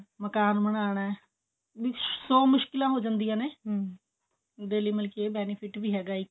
ਮਕਾਨ ਬਨਾਣਾ ਸੋ ਮੁਸ਼ਕਿਲਾ ਹੋ ਜਾਂਦਿਆ ਨੇ ਇਹਦੇ ਲਈ ਮਤਲਬ ਕਿ ਇਹ benefit ਵੀ ਹੈਗਾ ਇੱਕ